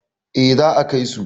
eh za a Kai su